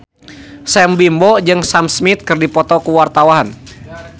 Sam Bimbo jeung Sam Smith keur dipoto ku wartawan